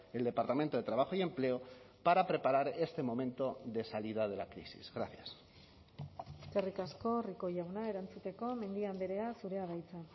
el departamento de trabajo y empleo para preparar este momento de salida de la crisis gracias eskerrik asko rico jauna erantzuteko mendia andrea zurea da hitza